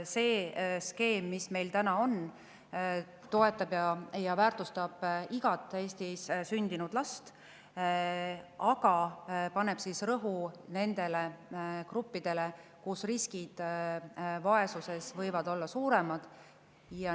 See skeem, mis meil praegu on, toetab ja väärtustab igat Eestis sündinud last, aga paneb rõhu nendele gruppidele, kus võib vaesusrisk olla suurem.